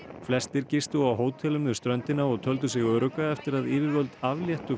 flestir gistu á hótelum við ströndina og töldu sig örugga eftir að yfirvöld afléttu